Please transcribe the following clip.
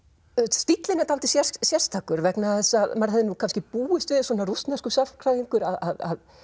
stíllinn er dálítið sérstakur vegna þess að maður hefði nú kannski búist við svona rússneskur sagnfræðingur að